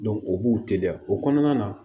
o b'u teliya o kɔnɔna na